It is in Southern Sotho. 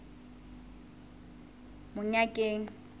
monyakeng